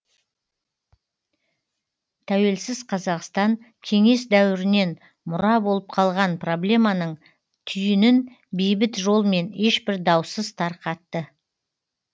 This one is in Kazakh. тәуелсіз қазақстан кеңес дәуірінен мұра болып қалған проблеманың түйінін бейбіт жолмен ешбір даусыз тарқатты